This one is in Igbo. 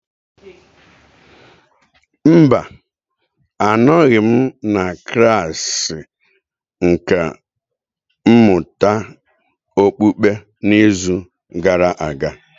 Mba, anọghị m na klasị nkà mmụta okpukpe n'izu gara aga.